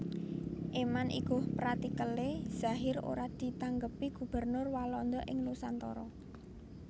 Éman iguh pratikelé Zahir ora ditanggepi Gubernur Walanda in Nusantara